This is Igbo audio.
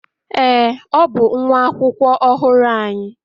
Ee, ọ bụ nwa akwụkwọ ọhụrụ anyị.